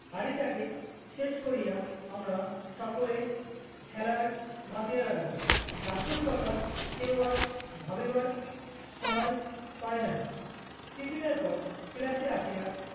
হাঁড়িটাকে শেষ করিয়া আমরা সকলে খেলায় মাতিয়া লাগলাম। দাশুর কথা কেউ আর ভাবিবার স~ সময় পায় নাই। tiffin এর পর class এ আসিয়া